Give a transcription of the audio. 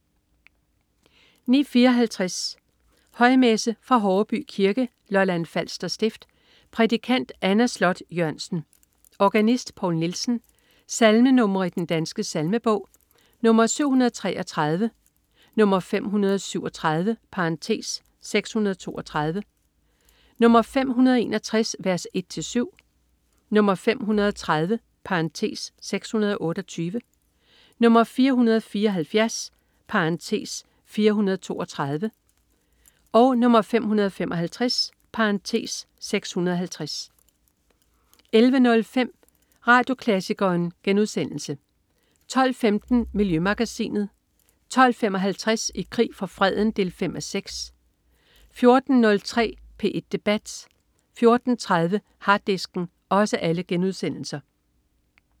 09.54 Højmesse. Fra Horreby Kirke, Lolland Falster stift. Prædikant: Anna Sloth Jørgensen. Organist: Paul Nielsen. Salmer i Den Danske Salmebog: 733, 537 (632), 561 v. 1-7, 530 (628), 474 (432), 555 (650) 11.05 Radioklassikeren* 12.15 Miljømagasinet* 12.55 I krig for freden 5:6* 14.03 P1 debat* 14.30 Harddisken*